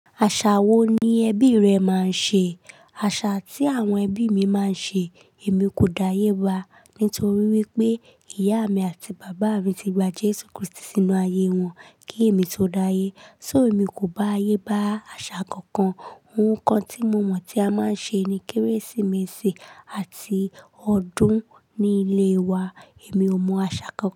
Àṣà wo ni ẹbí rẹ máa ń ṣe? Àṣà tí àwọn ẹbí mi máa ń ṣe èmi kò dáyéba nítorí wípé ìyá mi àti bàbá mi ti gba Jésù Kristi sínú ayé wọn kí èmi tó dáyé. So èmi kò bá ayé bá àṣà kankan. Ohun kan tí mo mọ̀ tí a máa ń ṣe ni Kérésìmesì àti ọdún nílé wa. Èmi ò mọ àṣà kankan.